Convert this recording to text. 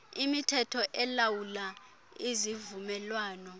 imithetho elawula izivumelwano